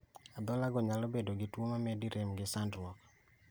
Adhola go nyalo bedo gi tuo mamedi rem gi sandruok